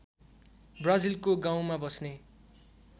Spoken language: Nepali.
ब्राजिलको गाउँमा बस्ने